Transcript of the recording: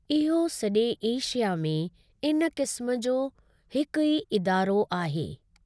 इहो सॼे एशिया में इन किस्म जो हिकु ई इदारो आहे।